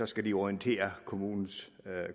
skal orientere kommunerne